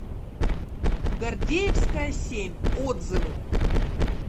гордеевская семь отзывы